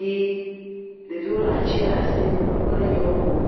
ɣi. Ɖeviwo le ati ɖe asi hele enyiwo ƒom.